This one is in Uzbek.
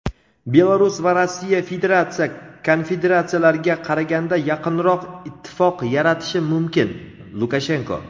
Belarus va Rossiya federatsiya konfederatsiyalarga qaraganda yaqinroq ittifoq yaratishi mumkin – Lukashenko.